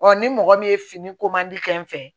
ni mɔgɔ min ye fini ko mandi kɛ n fɛ